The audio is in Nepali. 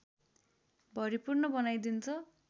भरिपूर्ण बनाइदिन्छ